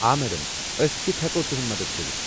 آ میڈم، ٲسۍ کتھہٕ ہٮ۪کو تُہُند مدتھ کٔرِتھ؟